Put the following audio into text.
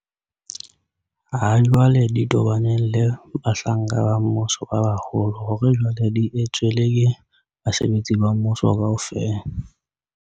ha jwale di tobaneng le bahlanka ba mmuso ba baholo hore jwale di etswe le ke basebetsi ba mmuso kaofela.